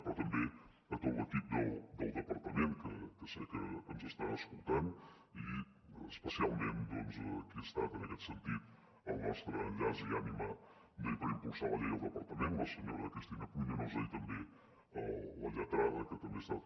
però també a tot l’equip del departament que sé que ens està escoltant i especialment a qui ha estat en aquest sentit el nostre enllaç i ànima per impulsar la llei al departament la senyora cristina pruñonosa i també a la lletrada que també ha estat